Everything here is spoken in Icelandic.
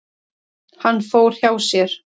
Hann fór hjá sér.